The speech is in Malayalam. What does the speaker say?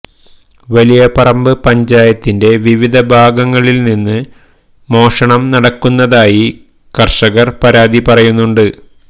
വലിയ പറമ്പ പഞ്ചായത്തിന്റെ വിവിധ ഭാഗങ്ങളില് നിന്ന് മോഷണം നടക്കുന്നതായി കര്ഷകര് പരാതി പറയുന്നുണ്ട്